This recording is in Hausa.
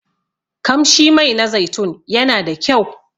Kamshi Mai na zaitun yana da kyau.